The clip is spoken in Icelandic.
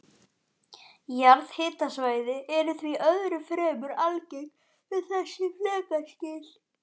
Jarðhitasvæði eru því öðru fremur algeng við þessi flekaskil.